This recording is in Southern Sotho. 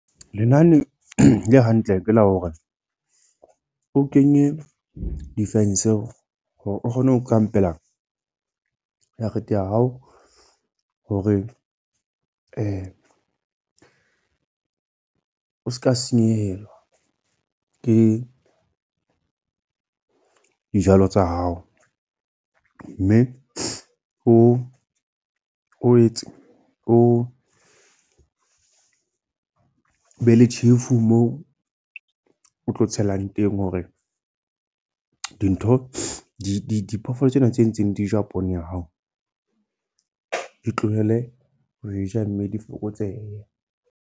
Lenane le hantle ke la hore, o kenye di-fence hore o kgone ho kampela jarete ya hao. Hore o seka senyehelwa, ke dijalo tsa hao. Mme o o etse, o be le tjhefu moo o tlo tshelang teng. Hore dintho di diphoofolo tsena tse ntseng di ja poone ya hao, di tlohele ho e ja mme di fokotsehe.